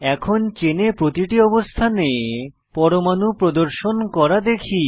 এখন চেনে প্রতিটি অবস্থানে পরমাণু প্রদর্শন করা দেখি